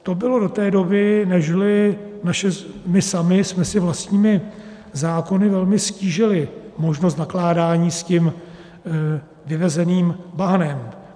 To bylo do té doby, nežli my sami jsme si vlastními zákony velmi ztížili možnost nakládání s tím vyvezeným bahnem.